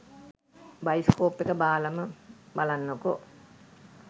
Bioscope එක බාලම බලන්නකෝ.